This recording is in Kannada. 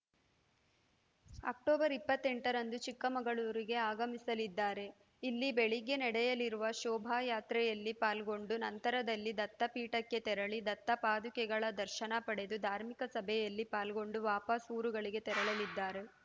ಅಕ್ಟೋಬರ್ ಇಪ್ಪತ್ತೆಂಟರಂದು ಚಿಕ್ಕಮಗಳೂರಿಗೆ ಆಗಮಿಸಲಿದ್ದಾರೆ ಇಲ್ಲಿ ಬೆಳಗ್ಗೆ ನಡೆಯಲಿರುವ ಶೋಭಾಯಾತ್ರೆಯಲ್ಲಿ ಪಾಲ್ಗೊಂಡು ನಂತರದಲ್ಲಿ ದತ್ತಪೀಠಕ್ಕೆ ತೆರಳಿ ದತ್ತಪಾದುಕೆಗಳ ದರ್ಶನ ಪಡೆದು ಧಾರ್ಮಿಕ ಸಭೆಯಲ್ಲಿ ಪಾಲ್ಗೊಂಡು ವಾಪಸ್‌ ಊರುಗಳಿಗೆ ತೆರಳಲಿದ್ದಾರೆ